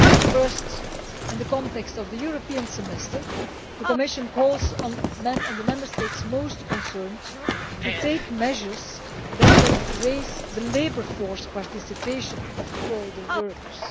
First, in the context of the European Semester, the Commission calls on the Member States most concerned to take measures that will raise the labour force participation of older workers.